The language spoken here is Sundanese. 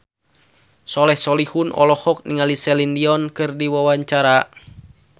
Soleh Solihun olohok ningali Celine Dion keur diwawancara